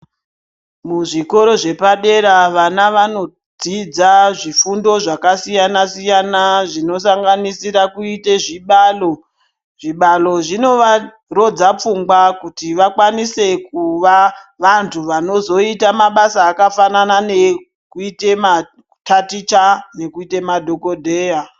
Muzvikora zvepadera vana vandodzidza zvifundo zvakasiyana siyana zvinosanganisira kuite zvibalo .Zvibalo zvinovarodza pfungwa kuti vakwanise kuva vantu vanozoita mabasa akafanana nekuita mataticha nemadhokoteya.